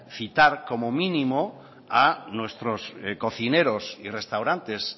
citar como mínimo a nuestros cocineros y restaurantes